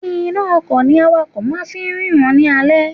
Iná a ọkò ni awakò máa fi ń rína ní alé